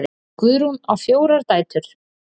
Guðrún á fjórar dætur.